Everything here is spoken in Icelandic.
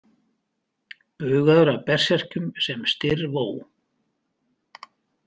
Bugaður af berserkjunum sem Styrr vó.